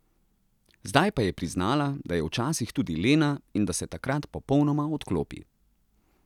Zdaj pa je priznala, da je včasih tudi lena in da se takrat popolnoma odklopi.